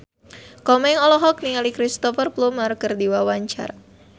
Komeng olohok ningali Cristhoper Plumer keur diwawancara